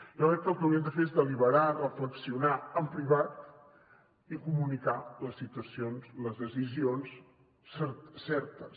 jo crec que el que haurien de fer és deliberar reflexionar en privat i comunicar les situacions les decisions certes